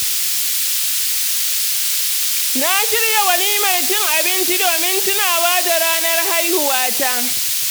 Na shirya walimar cin abinci domin tunawa da ranar haihuwata.